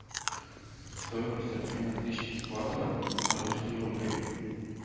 стоимость обмена тысячи батов на русские рубли